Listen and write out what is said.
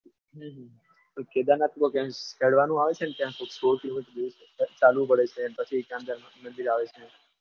હમ પણ કેદારનાથમાં બહુ હેડવાનું આવે છે ને ત્યાં ચાલુ પડે છે અને ત્યાં પછી અંદર મંદિર આવે છે.